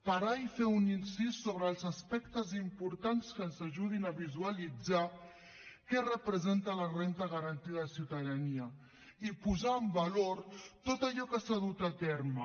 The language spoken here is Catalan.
parar i fer un incís sobre els aspectes importants que ens ajudin a visualitzar què representa la renda garantida de ciutadania i posar en valor tot allò que s’ha dut a terme